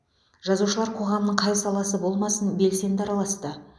жазушылар қоғамның қай саласы болмасын белсенді араласты